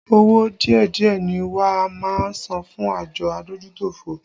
Owó díẹ̀díẹ̀ ni wá máa san fún àjọ adójútòfò